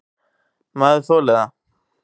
Maður þolir það.